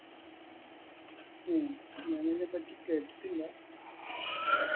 ഉം ഞാനിതിനെ പറ്റി കേട്ടിട്ടില്ല